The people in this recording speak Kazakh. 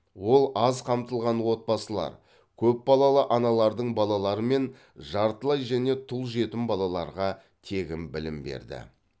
ол аз қамтылған отбасылар көпбалалы аналардың балалары мен жартылай және тұл жетім балаларға тегін білім берді